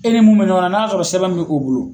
E ni mun bɛ ɲɔgɔnna n'a sɔrɔ sɛbɛn bi o bolo